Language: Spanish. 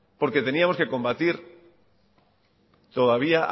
porque teníamos que combatir todavía